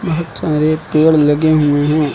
बहोत सारे पेड़ लगे हुए हैं।